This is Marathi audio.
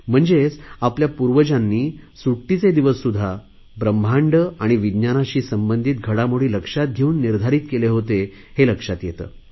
म्हणजेच आपल्या पूर्वजांनी सुट्टीचे दिवससुध्दा ब्रम्हांड आणि विज्ञानाशी संबंधित घडामोडी लक्षात घेऊन निर्धारित केले होते हे लक्षात येते